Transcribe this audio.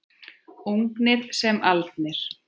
Ungir sem aldnir.